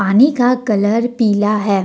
पानी का कलर पीला है।